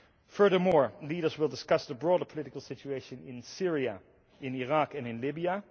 Furthermore, leaders will discuss the broader political situation in Syria, Iraq and Libya.